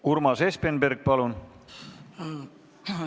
Urmas Espenberg, palun!